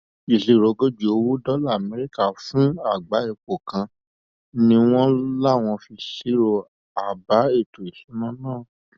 ìṣirò ogójì owó dọlà amẹríkà fún àgbá epo kan ni wọn láwọn fi ṣírò àbá ètò ìṣúná náà